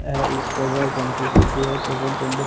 आह इ petrol pump की photo है पेट्रोल पंप हैं।